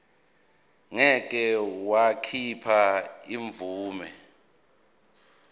ngeke wakhipha imvume